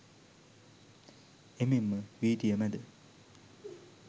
එමෙන්ම විථිය මැද